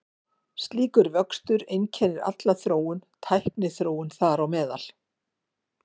Slíkur vöxtur einkennir alla þróun, tækniþróun þar á meðal.